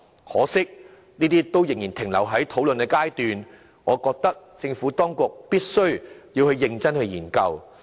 可惜，建議仍然停留在討論階段，我認為政府當局必須認真研究。